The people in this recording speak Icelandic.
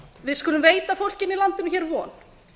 við skulum veita fólkinu í landinu von